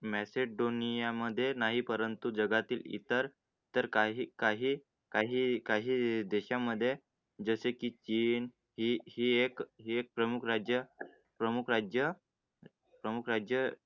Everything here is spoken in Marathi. Message दोन्ही यामध्ये नाही, परंतु जगातील इतर तर काही काही काही काही देशांमध्ये जसे की हई प्रमुख राज्य प्रमुख राज्य प्रमुख राज्य राज्य